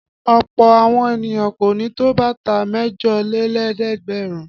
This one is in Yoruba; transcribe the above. Ọ̀pọ̀ àwọn ènìyàn kò ní tó bàtà mẹ́jọlélẹ́ẹ̀dẹ́gbẹ̀rún.